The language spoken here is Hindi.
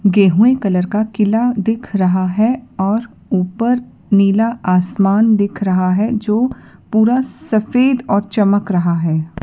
गेहुए कलर का किला दिख रहा है और ऊपर नीला आसमान दिख रहा है जो पूरा सफेद और चमक रहा है।